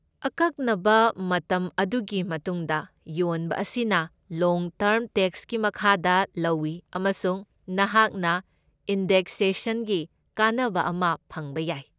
ꯑꯀꯛꯅꯕ ꯃꯇꯝ ꯑꯗꯨꯒꯤ ꯃꯇꯨꯡꯗ ꯌꯣꯟꯕ ꯑꯁꯤꯅ ꯂꯣꯡ ꯇꯔꯝ ꯇꯦꯛꯁꯀꯤ ꯃꯈꯥꯗ ꯂꯧꯢ ꯑꯃꯁꯨꯡ ꯅꯍꯥꯛꯅ ꯏꯟꯗꯦꯛꯁꯦꯁꯟꯒꯤ ꯀꯥꯟꯅꯕ ꯑꯃ ꯐꯪꯕ ꯌꯥꯏ꯫